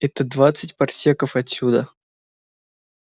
это двадцать парсеков отсюда